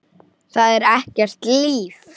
Það er ekkert líf.